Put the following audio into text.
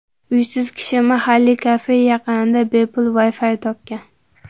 Uysiz kishi mahalliy kafe yaqinida bepul Wi-Fi topgan.